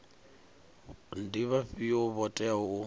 ndi vhafhio vho teaho u